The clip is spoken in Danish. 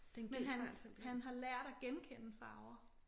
Men han han har lært at genkende farver